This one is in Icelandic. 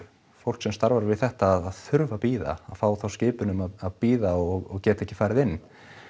fólk sem starfar við þetta að þurfa að bíða að fá þá skipun um að bíða og geta ekki farið inn